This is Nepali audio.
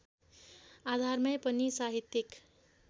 आधारमै पनि साहित्यिक